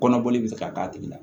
Kɔnɔboli bi se ka k'a tigi la